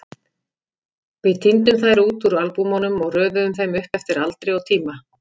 Við tíndum þær út úr albúmunum og röðuðum þeim upp eftir aldri og tíma.